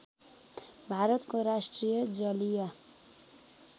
भारतको राष्ट्रिय जलीय